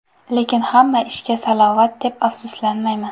Lekin hamma ishga salovat deb, afsuslanmayman.